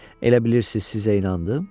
Elə bilirsiz sizə inandım?